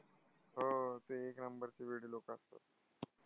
हा, ते एक number चे वेडी लोकं असतात.